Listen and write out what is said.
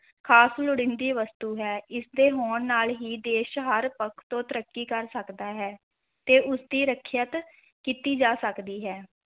ਖ਼ਾਸ ਲੋੜੀਦੀਂ ਵਸਤੂ ਹੈ ਇਸਦੇ ਹੋਣ ਨਾਲ ਹੀ ਦੇਸ ਹਰ ਪੱਖ ਤੋਂ ਤਰੱਕੀ ਕਰ ਸਕਦਾ ਹੈ, ਤੇ ਉਸਦੀ ਰੱਖਿਅਤ ਕੀਤੀ ਜਾ ਸਕਦੀ ਹੈ।